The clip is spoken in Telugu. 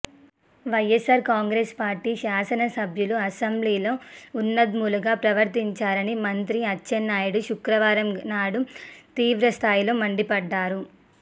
వైయస్సార్ కాంగ్రెస్ పార్టీ శాసన సభ్యులు అసెంబ్లీలో ఉన్మాదులుగా ప్రవర్తించారని మంత్రి అచ్చెన్నాయుడు శుక్రవారం నాడు తీవ్రస్థాయిలో మండిపడ్డారు